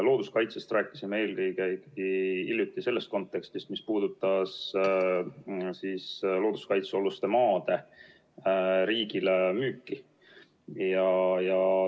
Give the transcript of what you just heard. Looduskaitsest rääkisime hiljuti eelkõige ikkagi selles kontekstis, mis puudutas looduskaitsealuste maade riigile müüki.